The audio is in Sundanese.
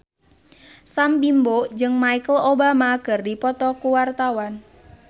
Sam Bimbo jeung Michelle Obama keur dipoto ku wartawan